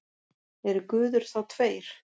Eru guðir þá tveir?